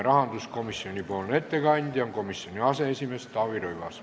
Rahanduskomisjoni ettekandja on komisjoni aseesimees Taavi Rõivas.